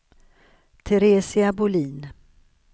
Teresia Bolin